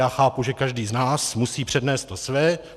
Já chápu, že každý z nás musí přednést to své.